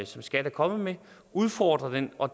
som skat er kommet med udfordre den og